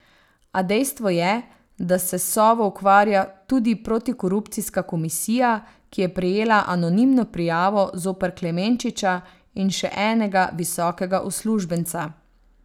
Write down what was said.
A dejstvo je, da se s Sovo ukvarja tudi protikorupcijska komisija, ki je prejela anonimno prijavo zoper Klemenčiča in še enega visokega uslužbenca.